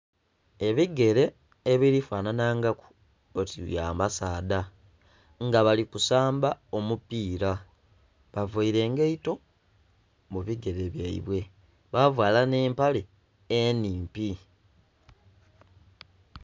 Ebigere ebiri fananha ngaku oti bya basaadha nga bali kusamba omupira bavaire engaito mu bigere byaibwe, bavala nhe empale enhimpi.